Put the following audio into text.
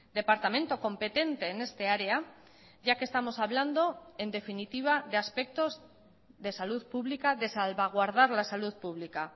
departamento competente en esta área ya que estamos hablando en definitiva de aspectos de salud pública de salvaguardar la salud pública